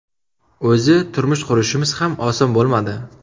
O‘zi turmush qurishimiz ham oson bo‘lmadi.